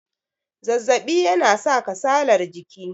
zazzabi yana sa kasalar jiki